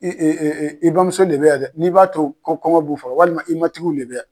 I i i i bamuso le bɛ yan dɛ n'i b'a to kɔn kɔngɔ b'u faga walima i matigiw le bɛ yan.